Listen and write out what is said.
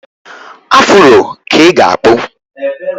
Afuro ka ị ga-akpụ.